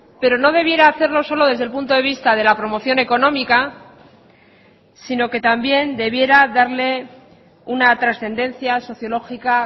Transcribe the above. pero no debiera hacerlo solo desde el punto de vista de la promoción económica sino que también debiera darle una trascendencia sociológica